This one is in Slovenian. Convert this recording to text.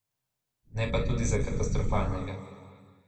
Ne pa tudi za katastrofalnega.